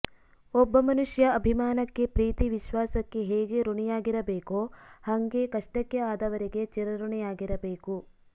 ಒಬ್ಬ ಮನುಷ್ಯ ಅಭಿಮಾನಕ್ಕೆ ಪ್ರೀತಿ ವಿಶ್ವಾಸಕ್ಕೆ ಹೇಗೆ ಋಣಿಯಾಗಿರ ಬೇಕೋ ಹಂಗೆ ಕಷ್ಟಕ್ಕೆ ಆದವರಿಗೆ ಚಿರಋಣಿಯಾಗಿರಬೇಕು